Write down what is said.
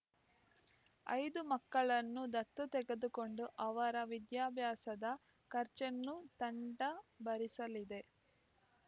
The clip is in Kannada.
ಐದು ಮಕ್ಕಳನ್ನು ದತ್ತು ತೆಗೆದುಕೊಂಡು ಅವರ ವಿದ್ಯಾಭ್ಯಾಸದ ಖರ್ಚನ್ನು ತಂಡ ಭರಿಸಲಿದೆ